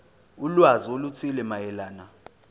ulwazi oluthile mayelana